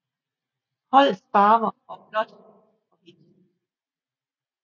Holdets farver og blåt og hvidt